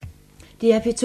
DR P2